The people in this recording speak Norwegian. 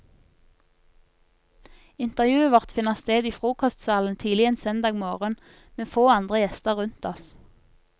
Intervjuet vårt finner sted i frokostsalen tidlig en søndag morgen, med få andre gjester rundt oss.